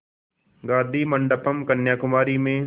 गाधी मंडपम् कन्याकुमारी में